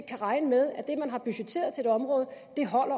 kan regne med at det man har budgetteret på et område